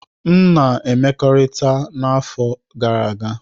M na mmekọrịta n'afọ gara aga.